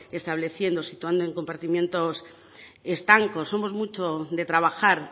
estableciendo situando en compartimentos estancos somos mucho de trabajar